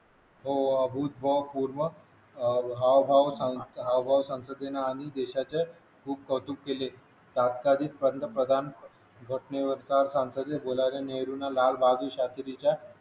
हो महत्त्वपूर्ण अह हावभाव सांग हावभाव संसदेने आणि देशाचे खूप कौतुक केलं तत्कालीन पंतप्रधान घटने वरचा संसदेत बोलायला नेहरूंना लालबहादूर शास्त्री च्या